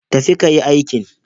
Tafi ka yi aikin.